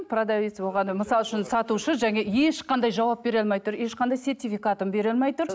продавец мысал үшін сатушы ешқандай жауап бере алмай тұр ешқандай сертификатын бере алмай тұр